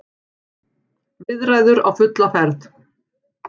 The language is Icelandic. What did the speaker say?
Viðræður á fulla ferð